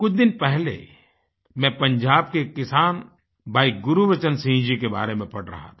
कुछ दिन पहले मैं पंजाब के किसान भाई गुरबचन सिंह जी के बारे में पढ़ रहा था